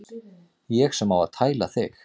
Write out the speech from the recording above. Ég sem á að tæla þig.